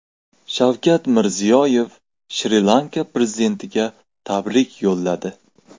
Shavkat Mirziyoyev Shri Lanka prezidentiga tabrik yo‘lladi.